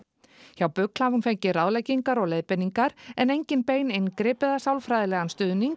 hjá BUGL hafi hún fengið ráðleggingar og leiðbeiningar en engin bein inngrip eða sálfræðilegan stuðning